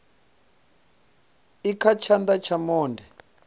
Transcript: i kha tshana tsha monde